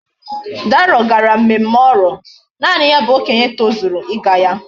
Dayo gara mmemme oro. naani ya bu okenye tozuru íga ya